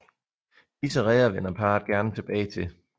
Disse reder vender parret gerne tilbage til